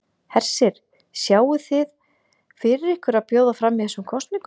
Hersir: Sjáið þið fyrir ykkur að bjóða fram í þessum kosningum?